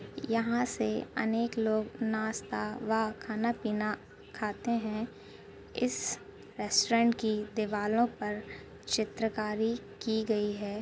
यह से अनेक लोग नास्ता व खाना पीना खाते हैं। इस रेस्तुरांत की दीवालों पर चित्र कारी की गई है।